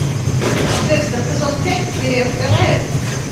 декстер сезон пять серия вторая